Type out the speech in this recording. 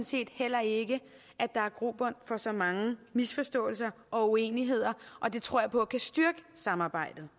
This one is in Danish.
set heller ikke der er grobund for så mange misforståelser og uenigheder og det tror jeg på kan styrke samarbejdet